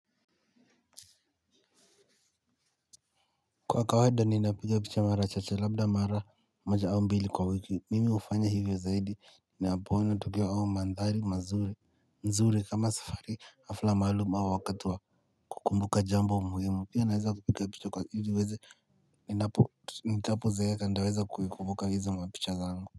Kwa kawaida ninapiga picha mara chache labda mara moja au mbili kwa wiki. Mimi hufanya hivyo zaidi ninapoona tukio au mandhari mazuri kama safari, hafla maalum au wakati wa kukumbuka jambo muhimu. Pia naweza kupiga picha ni weze nitapo zeeka nitaweza kuikumbuka hizo mapicha zangu.